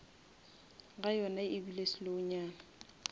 ga yona ebile slow nyana